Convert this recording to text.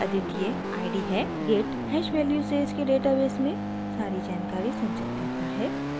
git hash value से इसके database में सारी जानकारी संचित करता है